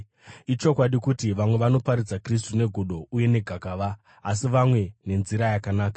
Ichokwadi kuti vamwe vanoparidza Kristu negodo uye negakava, asi vamwe nenzira yakanaka.